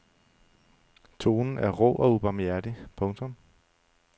Tonen er rå og ubarmhjertig. punktum